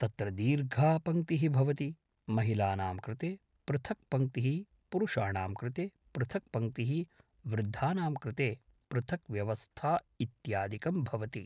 तत्र दीर्घा पङ्क्तिः भवति महिलानां कृते पृथक् पङ्क्तिः पुरुषाणां कृते पृथक् पङ्क्तिः वृद्धानां कृते पृथक् व्यवस्था इत्यादिकं भवति